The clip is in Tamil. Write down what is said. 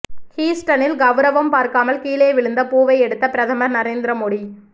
ஹூஸ்டனில் கவுரவம் பார்க்காமல் கீழே விழுந்த பூவை எடுத்த பிரதமர் நரேந்திர மோடி